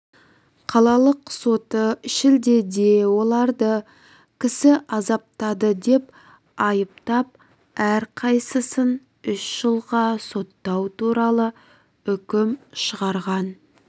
қалалық соты шілдеде оларды кісі азаптады деп айыптап әрқайсысын үш жылға соттау туралы үкім шығарған